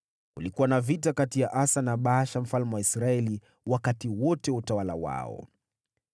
Kulikuwa na vita kati ya Asa na Baasha mfalme wa Israeli wakati wote wa utawala wao.